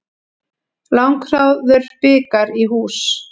Langþráður bikar í hús